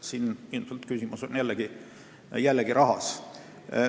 Siin on küsimus jällegi rahas.